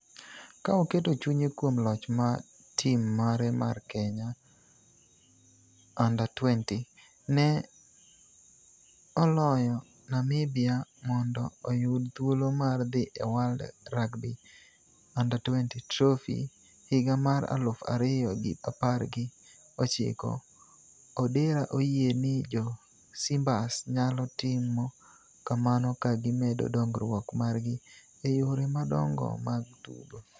Ka oketo chunye kuom loch ma tim mare mar Kenya U20 ne oloyo Namibia mondo oyud thuolo mar dhi e World Rugby U20 Trophy higa mar aluf ariyo gi apar gi ochiko, Odera oyie ni jo Simbas nyalo timo kamano ka gimedo dongruok margi e yore madongo mag tugo.